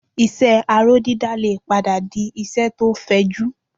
Iṣẹ́ aró dídá lè padà di iṣẹ́ tó fẹjú